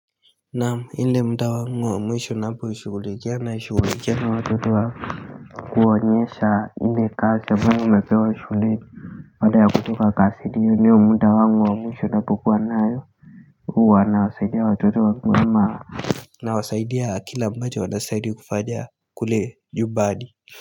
Naam ile mda wangu wa mwisho naposhugulikia nashugulikia na watoto wa kuwanyesha ile kasi ambayo wamepewa shuleni baada ya kutoka kasi hiyo ndiyo mda wangu wa mwisho napokuwa nayo huwa nawasaidia watoto wangu kwa ma nawasaidia kila ambacho wanastahili kufanya kule nyumbani.